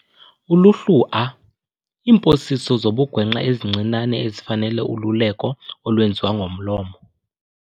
Uluhlu A- Iimposiso zobugwenxa ezincinane ezifanele ululeko olwenziwa ngomlomo.